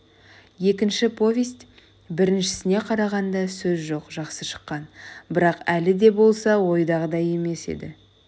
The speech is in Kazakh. екінші повесть біріншісіне қарағанда сөз жоқ жақсы шыққан бірақ әлі де болса ойдағыдай емес-ті